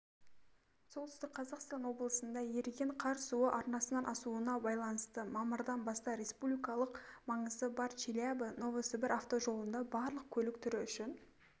солтүстік қазақстан облысында еріген қар суы арнасынан асуына байланысты мамырдан бастап республикалық маңызы бар челябі новосібір автожолында барлық көлік түрі үшін